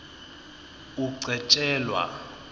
ugcetjelwa